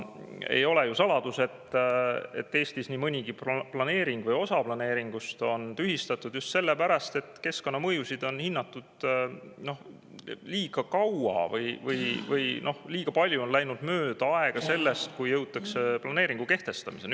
Ei ole ju saladus, et Eestis on nii mõnigi planeering või osa planeeringust tühistatud just sellepärast, et keskkonnamõjusid on hinnatud liiga kaua – liiga palju on läinud aega mööda, enne kui jõutakse planeeringu kehtestamiseni.